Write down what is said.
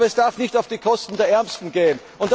Aber es darf nicht auf Kosten der Ärmsten gehen.